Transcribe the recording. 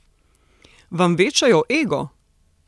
Vam večajo ego?